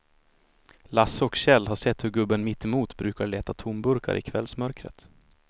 Lasse och Kjell har sett hur gubben mittemot brukar leta tomburkar i kvällsmörkret.